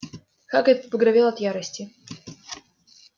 хагрид побагровел от ярости